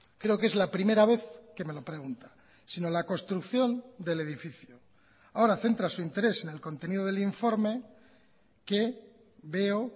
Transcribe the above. creo que es la primera vez que me lo pregunta sino la construcción del edificio ahora centra su interés en el contenido del informe que veo